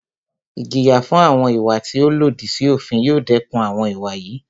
Ìjìyà fún àwọn ìwà tí o lòdì sí òfin yóò dẹkùn àwọn ìwà yìí.